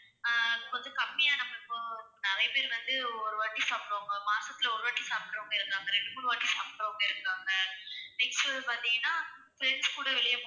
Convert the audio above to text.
ஆஹ் இப்போ வந்து கம்மியா நம்ம இப்போ, நிறைய பேர் வந்து ஒருவாட்டி சாப்பிடுவாங்க மாசத்துல ஒருவாட்டி சாப்பிடுறவங்க இருக்காங்க, ரெண்டு, மூணு வாட்டி சாப்பிடுறவங்க இருக்காங்க. next வந்து பாத்தீங்கன்னா friends கூட வெளிய